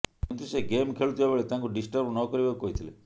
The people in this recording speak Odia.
କିନ୍ତୁ ସେ ଗେମ୍ ଖେଳୁଥିବାବେଳେ ତାଙ୍କୁ ଡିଷ୍ଟର୍ବ ନକରିବାକୁ କହିଥିଲେ